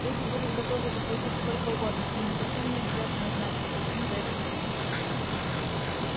люди будут готовы заплатить сколько угодно и им совсем не обязательно знать какую сумму за это заплатили вы